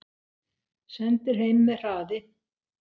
Sendir heim með hraði